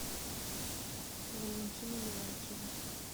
валентину леонтьеву